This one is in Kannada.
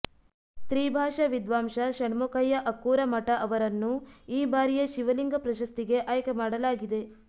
ತ್ರಿಭಾಷಾ ವಿದ್ವಾಂಸ ಷಣ್ಮುಖಯ್ಯ ಅಕ್ಕೂರ ಮಠ ಅವರನ್ನು ಈ ಬಾರಿಯ ಶಿವಲಿಂಗ ಪ್ರಶಸ್ತಿಗೆ ಆಯ್ಕೆ ಮಾಡಲಾಗಿದೆ